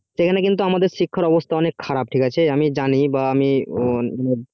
সেখানে কিন্তু আমাদের শিক্ষার অবস্থা অনেকটা খারাপ ঠিক আছে তো আমি জানি বা আমি